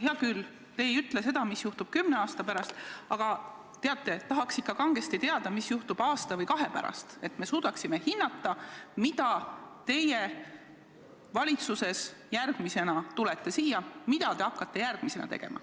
Hea küll, te ei ütle seda, mis juhtub kümne aasta pärast, aga tahaks ikka kangesti teada, mis juhtub aasta või kahe pärast, et me suudaksime hinnata, mida teie valitsuses järgmisena hakkate tegema.